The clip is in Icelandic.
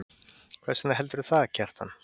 Hvers vegna heldurðu það, Kjartan?